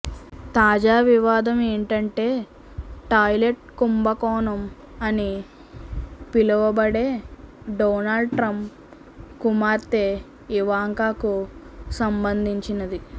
తాజా వివాదం ఏంటంటే టాయిలెట్ కుంభకోణం అని పిలువబడే డొనాల్డ్ ట్రంప్ కుమార్తె ఇవాంకాకు సంబంధించినది